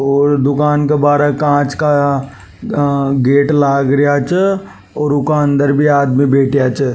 और दुकान के बार कांच का गेट लग रहा जे और उके अंदर भी आदमी बैठा च।